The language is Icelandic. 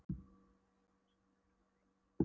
Bergtegundum er skipt í þrjá meginflokka eftir uppruna